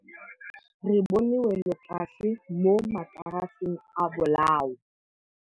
Re bone wêlôtlasê mo mataraseng a bolaô.